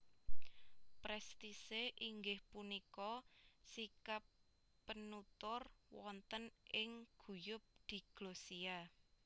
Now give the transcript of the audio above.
Prestise inggih punika sikap penutur wonten ing guyub diglosia